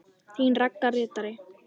Þín Ragga ritari.